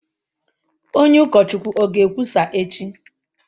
Onye ukọchukwu o ga-ekwusa echi?